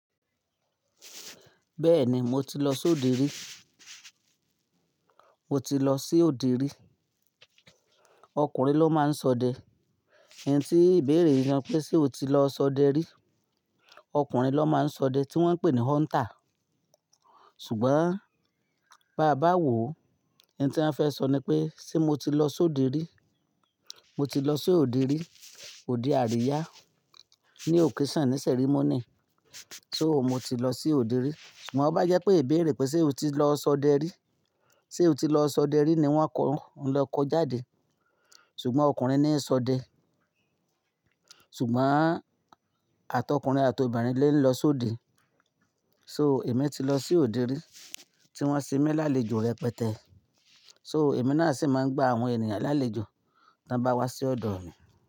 Bẹ́ẹ̀ni mo ti lọ sóde rí. O ti lọ sí òde rí. Okùnrin ló máa ń sọdẹ. Ohun tí ìbéèrè yii ṣé pe se o ti lọ s'ọdẹ rí? Okùnrin ló máa ń s'ọdẹ tí wọ́n ń pè ni hunter. Ṣùgbọ́n bá bá wòó, ihun tí wọ́n fẹ́ sọ ni pé ṣé mo ti lọ sóde rí? Mo ti lọ sí òde rí, òde àríyá. Ni occasion ní ceremony. So mo ti lọ sí òde rí. Sugbon to bá jẹ́ pé ìbéèrè pé ṣé o ti lọ sọdẹ rí? Ṣé o ti lọ sọdẹ rí ni wọ́n kọ́ ohun le kọ jáde. Ṣùgbọ́n okùnrin ni ń sọdẹ. Ṣùgbọ́n àt'ọkùnrin àt'obìnrin lo ń lọ sóde. So èmi ti lọ sí òde rí tí wọ́n se mi lálejò rẹpẹtẹ. So èmi náà sì máa ń gba àwọn ènìyàn lálejò tí wọ́n bá wá sí ọ̀dọ̀ mi.